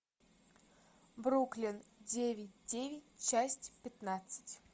бруклин девять девять часть пятнадцать